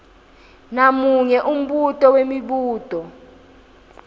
namunye umbuto wemibuto